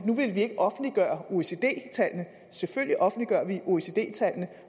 nu ikke ville offentliggøre oecd tallene selvfølgelig offentliggør vi oecd tallene